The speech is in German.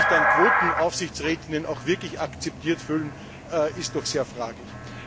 Ob sich dann Quotenaufsichtsrätinnen auch wirklich akzeptiert fühlen, ist doch sehr fraglich.